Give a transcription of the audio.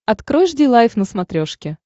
открой жди лайв на смотрешке